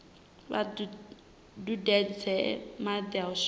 vha dudedze madi u swikela